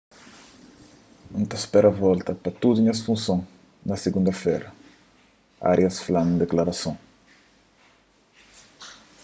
n ta spera volta pa tudu nhas funson na sigunda-fera arias fla nun diklarason